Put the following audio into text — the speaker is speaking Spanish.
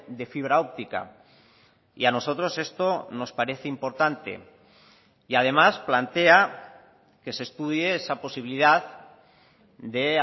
de fibra óptica y a nosotros esto nos parece importante y además plantea que se estudie esa posibilidad de